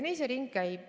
Nii see ring käib.